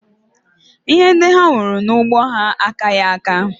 Ihe ndị ha wuru n'ugbo ha akaghị aka